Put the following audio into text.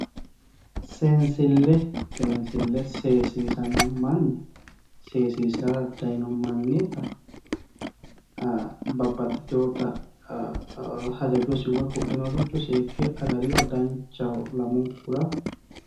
seensille seensille seesiisanno manni seesiisirara dayiino mannita babbaxitewoota hajajosi woyi ku'linoricho seekke agariro danchaho lamunkura.